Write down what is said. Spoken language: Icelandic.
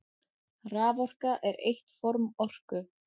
Raforka er eitt form orku.